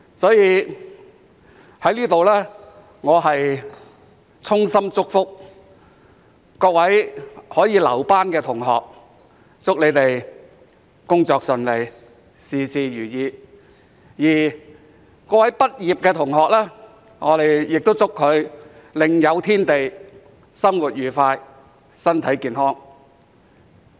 所以，我在此衷心祝福各位可以"留班"的同學，祝他們工作順利，事事如意；而各位畢業的同學，我亦祝他們另有天地、生活愉快、身體健康。